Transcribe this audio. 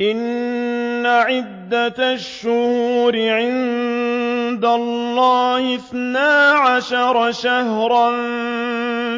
إِنَّ عِدَّةَ الشُّهُورِ عِندَ اللَّهِ اثْنَا عَشَرَ شَهْرًا